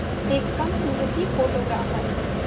एक कम उम्र की फ़ोटोग्राफ़र